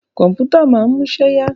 Kọ̀mpútà máa ń múṣẹ́ yá.